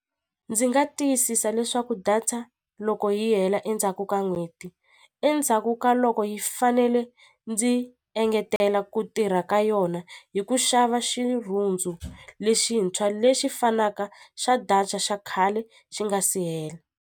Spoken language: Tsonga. Ndzi nga tiyisisa leswaku data loko yi hela endzhaku ka n'hweti endzhaku ka loko yi fanele ndzi engetela ku tirha ka yona hi ku xava xirhundzu lexintshwa lexi fanaka xa data xa khale xi nga si hela.